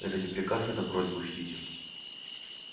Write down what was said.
это не приказ это просьба учтите